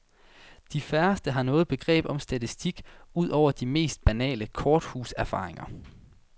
De færreste har noget begreb om statistik, ud over de mest basale korthuserfaringer.